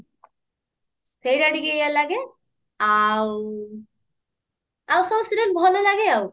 ସେଇଟା ଟିକେ ଇଏ ଲାଗେ ଆଉ ସବୁ serial ଭଲ ଲାଗେ ଆଉ